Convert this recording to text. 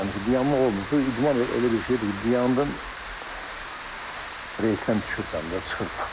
Yəni dayanmaq olmur, bu idman elə bir şeydir ki, dayandın reysdən düşürsən də, çıxırsan.